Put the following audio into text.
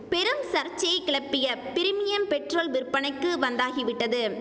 பெரும் சர்ச்சையை கிளப்பிய பிரிமியம் பெட்ரோல் விற்பனைக்கு வந்தாகிவிட்டது